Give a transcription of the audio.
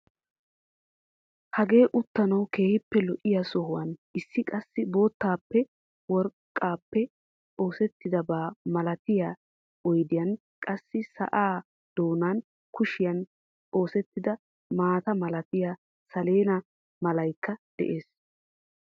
Hagee uttanawu keehippe lo"iyaa sohuwaan issi qassi bottaappe worqqaappe oseettidaba malatiyaa oydiyan qassi sa'aa doonan kuushshiyaan osettida maata malatiyaa saleena malaykka de'ees.